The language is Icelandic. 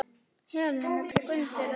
Helena tók undir það.